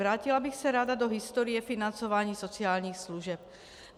Vrátila bych se ráda do historie financování sociálních služeb.